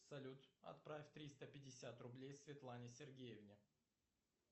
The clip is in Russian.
салют отправь триста пятьдесят рублей светлане сергеевне